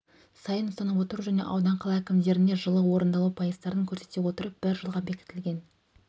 сайын ұсынып отыру және аудан қала әкімдеріне жылы орындалу пайыздарын көрсете отырып бір жылға бекітілген